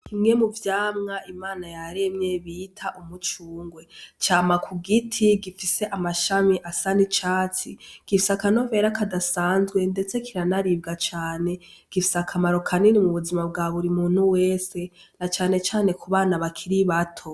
Bimwe mu vyamwa Imana yaremye bita umucungwe cama kugiti gifise amashami asa n'icatsi gifise akanovera kadasanzwe ndetse kira na ribwa cane gifise akamaro kanini mu buzima bwa buri muntu wese na canecane ku bana bakiri bato.